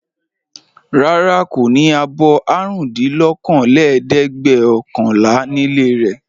Rárá, kò ní abọ́ àrùndínlókòólẹ́ẹ̀dẹ́gbẹ̀ọ̀kànlá nílé rẹ̀.